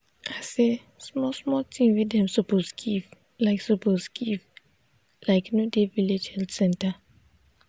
i say small small thing wey dem suppose give like suppose give like no dey village health center.